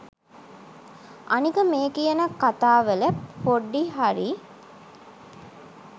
අනික මේ කියන කතාවල පොඩි හරි